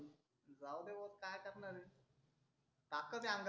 जाउद्या भाऊ काय करणार आहे ताकत आहे अंगात